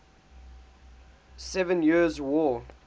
seven years war